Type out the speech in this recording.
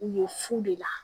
U ye fu de la